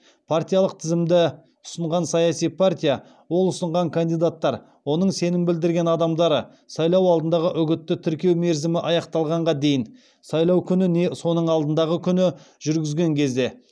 партиялық тізімді ұсынған саяси партия ол ұсынған кандидаттар оның сенім білдірілген адамдары сайлау алдындағы үгітті тіркеу мерзімі аяқталғанға дейін сайлау күні не соның алдындағы күні жүргізген кезде